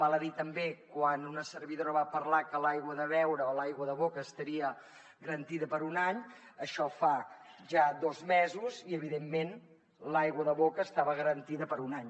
val a dir també quan una servidora va parlar que l’aigua de beure o l’aigua de boca estaria garantida per un any això fa ja dos mesos i evidentment l’aigua de boca estava garantida per un any